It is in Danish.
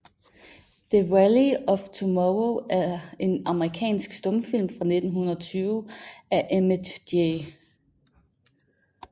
The Valley of Tomorrow er en amerikansk stumfilm fra 1920 af Emmett J